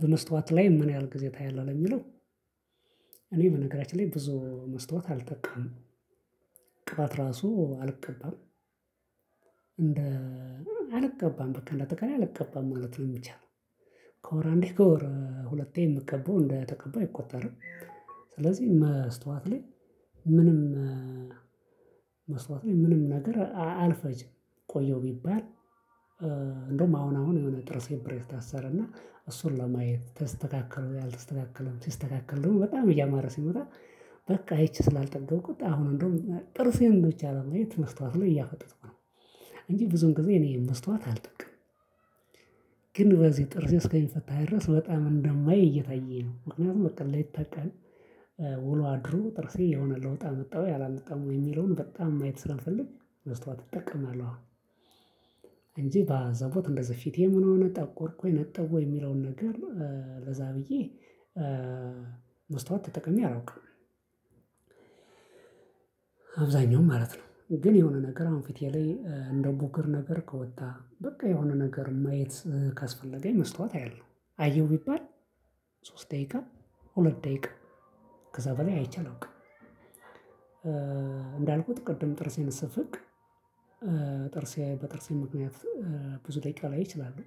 በመስታወት ላይ ምን ያህል ጊዜ ታያለህ? ለሚለው፣ እኔ በነገራችን ላይ ብዙ መስታወት አልጠቀምም። ቅባት ራሱ አልቀባም። እንደ አልቀባም በቃ እንደአጠቃላይ አልቀባም ማለት ነው የሚቻለው። ከወር አንዴ ከወር ሁለቴ የምቀባው እንደተቀባው አይቆጠርም። ስለዚህ መስታወት ላይ ምንም መስታወት ላይ ምንም ነገር አልፈጅም። ቆየው ቢባል እንደውም አሁን አሁን የሆነ ጥርሴን ብሬት ታሰረና እሱን ለማየት ተስተካከለ ወይ አልተስተካከለም ሲስተካከል ደግሞ በጣም እያማረ ሲመጣ በቃ ይቺ ስላልጠገብኩት አሁን እንደውም ጥርሴን ብቻ ለማየት መስታወት ላይ እያፈጠጥኩኝ ነው። እንጂ ብዙን ጊዜ እኔ መስታወት አልጠቀምም። ግን በዚህ ጥርሴ እስከሚፈታ ድረስ በጣም እንደማይ እየታየኝ ነው። ምክንያቱም በቃ ሌሊተ ቀን ውሎ አድሮ ጥርሴ የሆነ ለውጥ አመጣ ወይ አላመጣም ወይ የሚለውን በጣም ማየት ስለምፈልግ መስታወት እጠቀማለሁ። እንጂ በአዘቦት እንደዚህ ፊቴ ምን ሆነ ጠቆርኩ ወይ ነጣሁ ወይ የሚለውን ነገር ለዛ ብዬ መስታውት ተጠቅሜ አላውቅም። አብዛኛው ማለት ነው። ግን የሆነ ነገር አሁን ፊቴ ላይ እንደ ቡግር ነገር ከወጣ፣ በቃ የሆነ ነገር ማየት ካስፈለገኝ መስታወት አያለው። አየው ቢባል ሶስት ደቂቃ፣ ሁለት ደቂቃ፣ ከዛ በላይ አይቼ አላውቅም። እንዳልኩት ቅድም ጥርሴን ስፍቅ ጥርሴ በጥርሴ ምክንያት ብዙ ደቂቃ ላይ እችላለው።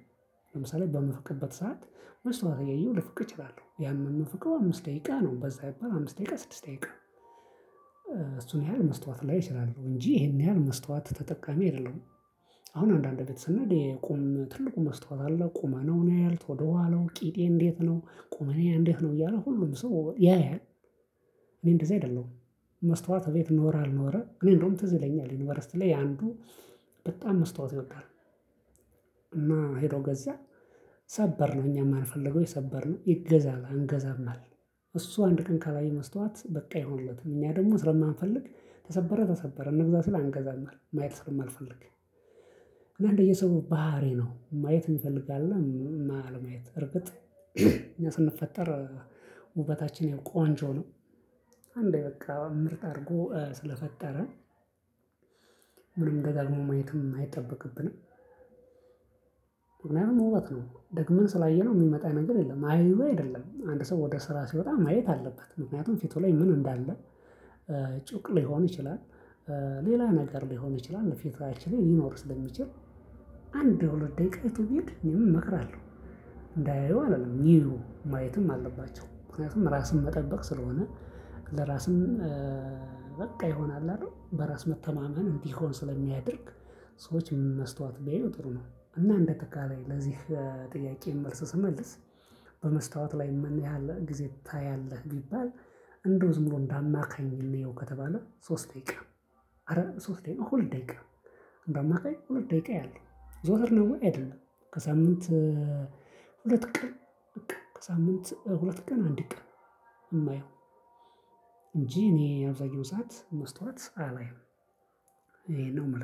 ለምሳሌ በምፍቅበት ሰዓት መስታውት እያየው ልፍቅ እችላለሁ። ያም የምፍቀው አምስት ደቂቃ ነው። በዛ ቢባል አምስት ደቂቃ ስድስት ደቂቃ። እሱን ያህል መስታወት ላይ እችላለሁ። እንጂ ይሄን ያህል መስታወት ተጠቃሚ አይደለሁም። አሁን አንዳንድ ቤት ስንሄድ የቁም ትልቁ መስታወት አለ። ቁመናውን ያያል ወደኋላው ቂጤ እንዴት ነው፣ ቁመናዬ እንዴት ነው እያለ ሁሉም ሰው ያያል። እኔ እንደዚህ አይደለሁም። መስታወት እቤት ኖረ አልኖረ። እኔ እንደውም ትዝ ይለኛል። ዩኒቨርሲቲ ላይ አንዱ በጣም መስታወት ይወዳል። እና ሄዶ ገዛ ሰበርነው እኛም አልፈልግነው ሰበርነው ይገዛ አለ አንገዛም አልን። እሱ አንድ ቀን ካላየ መስታወት በቃ አይሆንለትም። እኛ ደግሞ ስለማንፈልግ ተሰበረ ተሰበረ እንግዛ ሲል አንገዛም አልን ማየት ስለማልፈልግ። እና እንደየሰው ባህሪ ነው። ማየት የሚፈልግ አለ አለማየት። እርግጥ እኛ ስንፈጠር ውበታችን ያው ቆንጆ ነው። አንዴ በቃ ምርጥ አድርጎ ስለፈጠረን ደጋግሞ ማየትም አይጠበቅብንም ደግመን ስላየነው የሚመጣ ነገር የለም። አይዩ አይደለም። አንድ ሰው ወደ ስራ ሲወጣ ማየት አለበት። ምክንያቱም ፊቱ ላይ ምን እንዳለ ጩቅ ሊሆን ይችላል። ሌላ ነገር ሊሆን ይችላል። ፊታችን ላይ ሊኖር ስለሚችል አንድ ወይ ሁለት ደቂቃ አይቶ ቢሄድ እኔም እመክራለው። እንዳያዩ አልልም። ይዩ። ማየትም አለባቸው። ምክንያቱም ራስን መጠበቅ ስለሆነ ለራስም በቃ ይሆናል አይደል በራስ መተማመን እንዲሆን ስለሚያደርግ ሰዎች መስታወት ቢያዩ ጥሩ ነው። እና እንዳጠቃላይ ለዚህ ጥያቄ መልስ ስመልስ በመስታወት ላይ ምን ያህል ጊዜ ታያለህ? ቢባል። እንደው ዝም ብሎ እንደ አማካኝ እንየው ከተባለ ሶስት ደቂቃ፣ አረ ሶስት ደቂቃ ሁለት ደቂቃ። አማካኝ ሁለት ደቂቃ አያለው። ዘወትር ነው ወይ? አይደለም ከሳምንት ሁለት ቀን። በቃ ከሳምንት ሁለት ቀን አንድ ቀን የማየው። እንጂ እኔ አብዛኛው ሰዓት መስታወት አላይም። ይሄን ነው ምል